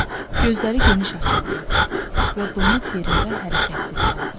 Gözləri geniş açıldı və donub yerində hərəkətsiz qaldı.